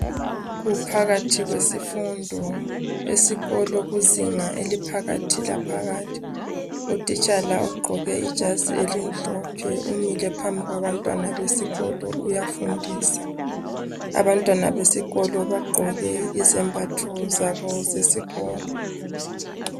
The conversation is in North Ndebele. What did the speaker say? Kuphakathi kwesifundo, esikolo. Kuzinga eliphakathi laphakathi. Utitshala ugqoke ijazii elimhlophe. Umile phambi kwabantwana besikolo, uyafundisa Abantwana besikolo bambethe izembatho zabo zesikolo.